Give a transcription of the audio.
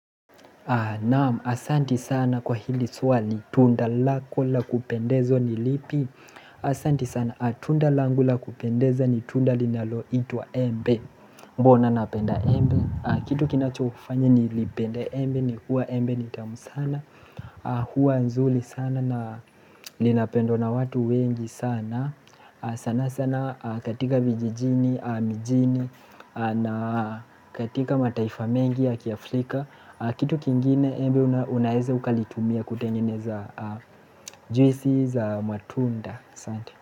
Naam, asanti sana kwa hili swali, tunda lako la kupendezwa ni lipi Asanti sana, tunda langu la kupendeza ni tunda linaloitwa embe Mbona napenda embe Kitu kinachofanya ni lipende embe ni kuwa embe ni tamu sana Huwa nzuri sana na linapendwa na watu wengi sana sana sana katika vijijini, mijini na katika mataifa mengi ya kiafrika Kitu kingine embe unaeze ukalitumia kutengene za juisi za matunda.